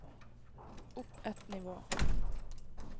opp ett nivå